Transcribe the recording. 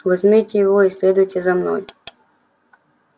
возьмите его и следуйте за мной